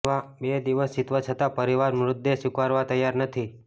બે દિવસ વીતવા છતાં પરિવાર મૃતદેહ સ્વીકારવા તૈયાર નથી